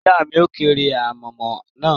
Ìyá mi a kórè ànàmọ́ náà